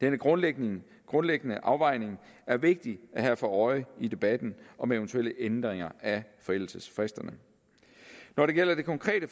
denne grundlæggende grundlæggende afvejning er vigtig at have for øje i debatten om eventuelle ændringer af forældelsesfristerne når det gælder det konkrete